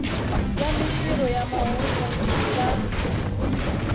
ya mintirho ya mahungu na